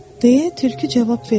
Deyə tülkü cavab verdi.